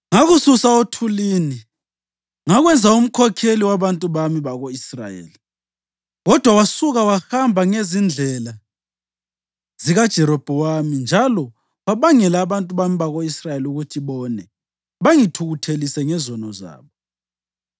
“Ngakususa othulini ngakwenza umkhokheli wabantu bami bako-Israyeli, kodwa wasuka wahamba ngezindlela zikaJerobhowamu njalo wabangela abantu bami bako-Israyeli ukuthi bone bangithukuthelise ngezono zabo.